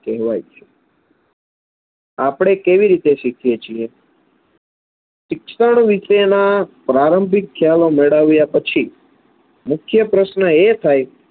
કહેવાય છે આપણે કેવી રીતે શીખીએ છીએ? શિક્ષણ વિશેના પ્રારંભિક ખ્યાલો મેળવ્યા પછી મુખ્ય પ્રશ્ન એ થાય